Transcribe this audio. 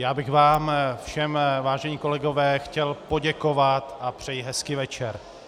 Já bych vám všem, vážení kolegové, chtěl poděkovat a přeji hezký večer.